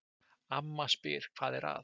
Amma spyr hvað er að?